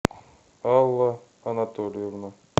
алла анатольевна